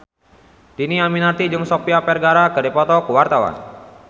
Dhini Aminarti jeung Sofia Vergara keur dipoto ku wartawan